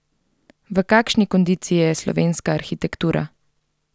V kakšni kondiciji je slovenska arhitektura?